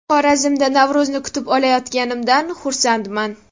Xorazmda Navro‘zni kutib olayotganimdan xursandman.